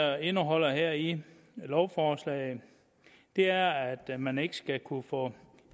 er indeholdt her i lovforslaget er at man ikke skal kunne få